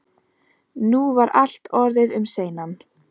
Nú var allt orðið um seinan.